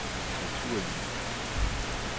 naturlige